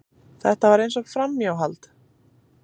Þetta var eins og framhjáhald.